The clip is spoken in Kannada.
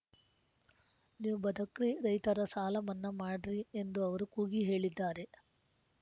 ನೀವು ಬದಕ್ರಿ ರೈತರ ಸಾಲ ಮನ್ನಾ ಮಾಡ್ರಿ ಎಂದು ಅವರು ಕೂಗಿ ಹೇಳಿದ್ದಾರೆ